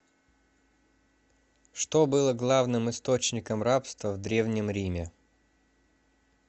что было главным источником рабства в древнем риме